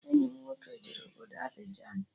Enyi m nwoke jere obodo Abịjan